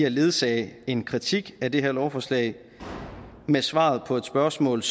at ledsage en kritik af det her lovforslag med et svar på spørgsmålet